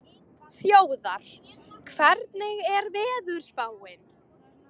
Þjóðar, hvernig er veðurspáin?